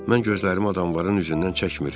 Mən gözlərimi adamların üzündən çəkmir.